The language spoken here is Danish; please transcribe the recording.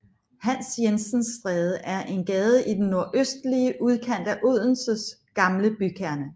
Hans Jensens Stræde er en gade i den nordøstlige udkant af Odenses gamle bykerne